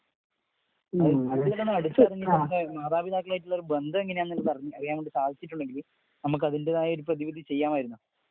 മാതാപിതാക്കളുമായിട്ടുള്ള ബന്ധം എങ്ങനെ യാണെന്ന് അറിയാനായിട്ട് സാധിച്ചിട്ടുണ്ടെങ്കിൽ നമുക്ക് അതിന്റെതായ ഒരു പ്രതിവിധി ചെയ്യാമായിരുന്നു.